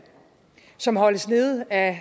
som holdes nede af